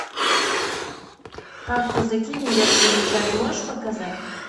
как казаки невест выручали можешь показать